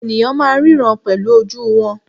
Ènìyàn máà ń ríran pẹ̀lú ojú wọn.